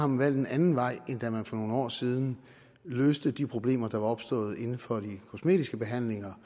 man valgt en anden vej end da man for nogle år siden løste de problemer der var opstået inden for de kosmetiske behandlinger